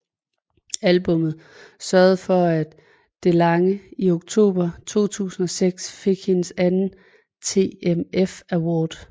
Albummet sørgede for at DeLange i oktober 2006 fik hendes anden TMF Award